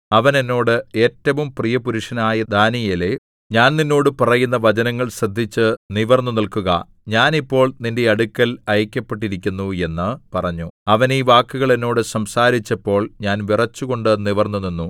അവൻ എന്നോട് ഏറ്റവും പ്രിയപുരുഷനായ ദാനീയേലേ ഞാൻ നിന്നോട് പറയുന്ന വചനങ്ങൾ ശ്രദ്ധിച്ച് നിവിർന്നുനില്‍ക്കുക ഞാൻ ഇപ്പോൾ നിന്റെ അടുക്കൽ അയയ്ക്കപ്പെട്ടിരിക്കുന്നു എന്ന് പറഞ്ഞു അവൻ ഈ വാക്കുകൾ എന്നോട് സംസാരിച്ചപ്പോൾ ഞാൻ വിറച്ചുകൊണ്ട് നിവർന്നു നിന്നു